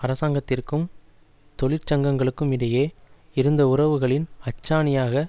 அரசாங்கத்திற்கும் தொழிற்சங்கங்களுக்கும் இடையே இருந்த உறவுகளின் அச்சாணியாக